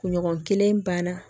Kunɲɔgɔn kelen banna